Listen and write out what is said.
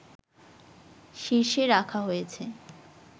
শীর্ষে রাখা হয়েছে